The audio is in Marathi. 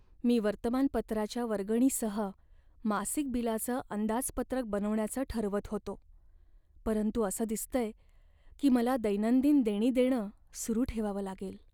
मी वर्तमानपत्राच्या वर्गणीसह मासिक बिलाचं अंदाजपत्रक बनवण्याचं ठरवत होतो, परंतु असं दिसतंय की मला दैनंदिन देणी देणं सुरू ठेवावं लागेल.